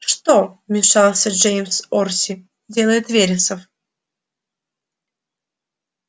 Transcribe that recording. что вмешался джеймс орси делает вересов